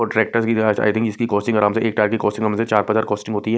Tractor की I think इसकी costing आराम से एक टायर की कॉस्टिंग से चार पार हजार की कॉस्टिंग होती है।